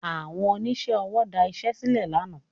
Àwọn oníṣẹ́ ọwọ́ da iṣẹ́ sílẹ̀ lánàá